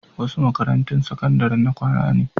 Wasu makarantun sakandaren na kwana ne.